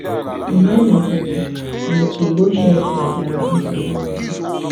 Mgbe e mesịrị, Mefiboshet nwetara nsogbu ọzọ.